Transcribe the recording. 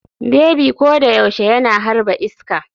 Bebi ko da yaushe yana harba iska.